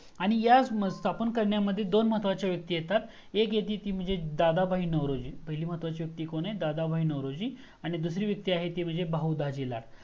आणि ह्या स्थापन करण्यामध्ये दोन महत्वाच्या व्यक्ति येतात एक येते ती म्हणजे दादाबाई नवरोजी पहिली महत्वाची व्यक्ति कोण आहे दादाबाई नवरोजी आणि दुसरी व्यक्ति आहे बहुदाजी लाल